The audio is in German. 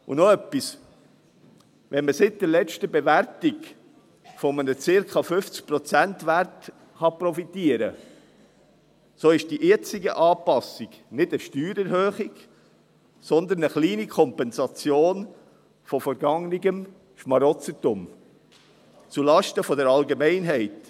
Und noch etwas: Wenn man seit der letzten Bewertung von einem 50-Prozent-Wert profitieren kann, so ist die jetzige Anpassung nicht eine Steuererhöhung, sondern eine kleine Kompensation von vergangenem «Schmarotzertum» zulasten der Allgemeinheit.